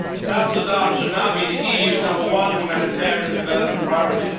Southern Sudan should now be the EU's number one humanitarian development priority.